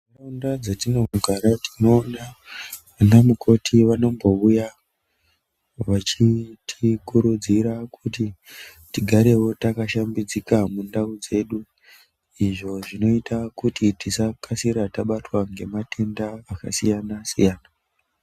...nda dzatinogara tinoona vanamukoti vanombouya vachitikurudzira kuti tigarewo takashambidzika mundau dzedu. Izvo zvinoita kuti tisakasira tabatwa ngematenda akasiyana-siyana.